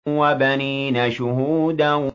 وَبَنِينَ شُهُودًا